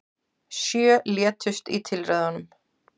Sjö létust í tilræðunum